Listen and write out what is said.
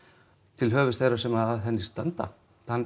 til höfuðs þeirra sem að henni standa